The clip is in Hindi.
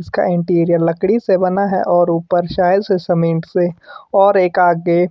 इसका इंटीरियर लकड़ी से बना है और ऊपर शायद से सीमेंट से और एक आगे--